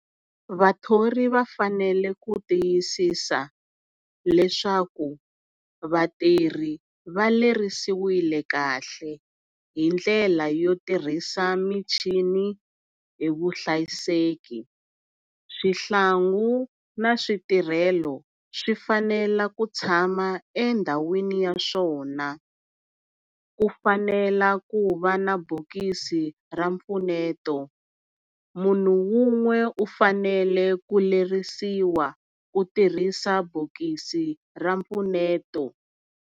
Vathori va fanele ku tiyisisa leswaku vatirhi va lerisiwile kahle hindlela yo tirhisa michini hi vuhlayiseki swihlangu na switirhelo swi fanela ku tshama endhawini ya swona. Ku fanela ku va na bokisi ra mpfuneto munhu wun'we u fanele ku lerisiwa ku tirhisa bokisi ra mpfuneto.